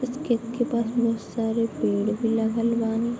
उस खेत के पास बहुत सारे पेड़ भी लगल बानी |